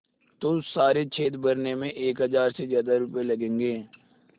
तो सारे छेद भरने में एक हज़ार से ज़्यादा रुपये लगेंगे